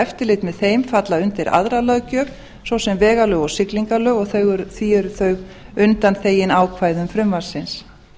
eftirlit með þeim falla undir aðra löggjöf svo sem vegalög og siglingalög og því eru þau undanþegin ákvæðum frumvarpsins